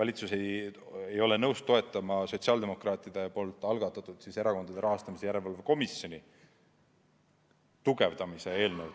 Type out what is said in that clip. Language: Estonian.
valitsus ei ole nõus toetama sotsiaaldemokraatide algatatud Erakondade Rahastamise Järelevalve Komisjoni tugevdamise eelnõu.